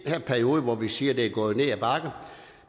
her periode hvor vi siger det er gået ned ad bakke